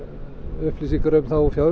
upplýsingar um það úr